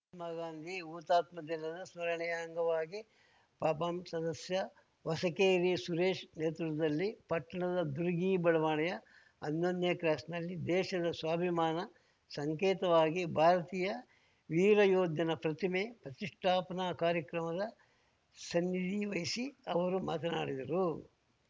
ಮಹಾತ್ಮ ಗಾಂಧಿ ಹುತಾತ್ಮ ದಿನದ ಸ್ಮರಣೆಯ ಅಂಗವಾಗಿ ಪಪಂ ಸದಸ್ಯ ಹೊಸಕೇರಿ ಸುರೇಶ್‌ ನೇತೃತ್ವದಲ್ಲಿ ಪಟ್ಟಣದ ದುರ್ಗಿ ಬಡಾವಣೆಯ ಹನ್ನೊಂದನೇ ಕ್ರಾಸ್‌ನಲ್ಲಿ ದೇಶದ ಸ್ವಾಭಿಮಾನ ಸಂಕೇತವಾಗಿ ಭಾರತೀಯ ವೀರ ಯೋಧನ ಪ್ರತಿಮೆ ಪ್ರತಿಷ್ಠಾಪನಾ ಕಾರ್ಯಕ್ರಮದ ಸಾನ್ನಿದಿ ವಹಿಸಿ ಅವರು ಮಾತನಾಡಿದರು